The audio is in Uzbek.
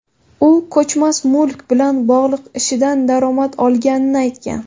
U ko‘chmas mulk bilan bog‘liq ishidan daromad olganini aytgan.